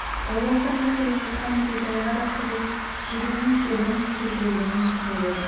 ойласа мына келе жатқан нүкетайға да қызыл жебенің кебін келтіргенін түсінер еді